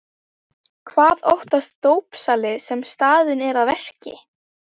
Hvað óttast dópsali sem staðinn er að verki?